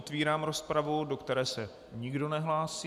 Otevírám rozpravu, do které se nikdo nehlásí.